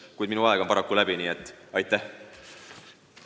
Kuid minu aeg on paraku läbi, nii et aitäh!